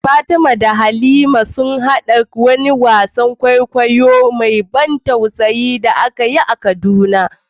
Fatima da Halima sun haɗa kai a wani wasan kwaikwayo mai ban tausayi da aka yi a Kaduna.